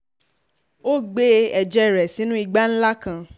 ó gbé ẹ̀jẹ̀ rẹ̀ sínú ìgbà ńlá kan